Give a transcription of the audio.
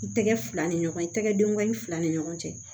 I tɛgɛ fila ni ɲɔgɔn ye tɛgɛ denkunya in fila ni ɲɔgɔn cɛ